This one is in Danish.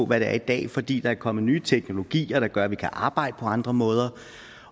hvad det er i dag fordi der er kommet nye teknologier der gør at vi kan arbejde på andre måder